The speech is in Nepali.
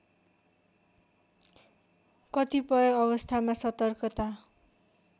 कतिपय अवस्थामा सतर्कता